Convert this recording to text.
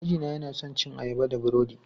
Mijina yana son cin ayaba da burodi.